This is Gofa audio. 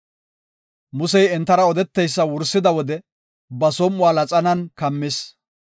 Musey entara odeteysa wursida wode ba som7uwa laxanan kammis.